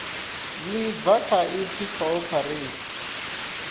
ḽi bva kha ipfi cooperate